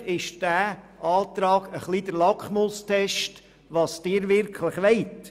Eigentlich ist dieser Antrag ein wenig der Lackmustest für das, was Sie wirklich wollen.